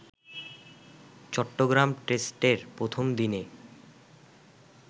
চট্টগ্রাম টেস্টের প্রথম দিনে